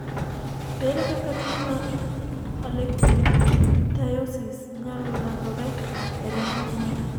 ere kaka tuo mar Harlequin ichthyosis nyalo landore e remb anyuola